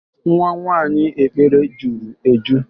Nwa nwaanyị Ekpele juru eju